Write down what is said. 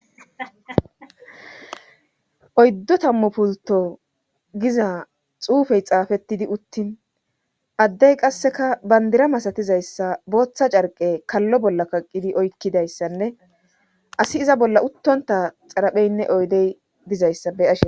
oyddu tammu pulto giza xuufey xaafettidi uttin addey qasseka bandira masatizayssa booththa carqe kallo bolla kaqqidi oykkidayssanne asi iza bolla uttonta xarapheynne oydey dizayssa be'ashe